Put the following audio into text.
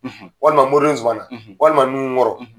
Walima mɔriden Zumana, walima nuhu kɔrɔ